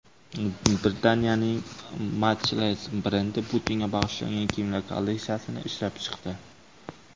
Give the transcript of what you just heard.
Britaniyaning Matchless brendi Putinga bag‘ishlangan kiyimlar kolleksiyasini ishlab chiqdi.